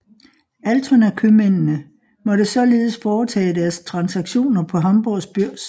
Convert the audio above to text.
Altonakøbmændene måtte således foretage deres transaktioner på Hamborgs børs